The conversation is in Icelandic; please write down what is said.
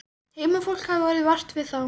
Heimafólk hafði orðið vart við þá.